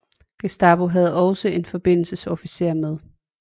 Gestapo havde også en forbindelsesofficer med